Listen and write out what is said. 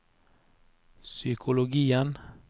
psykologien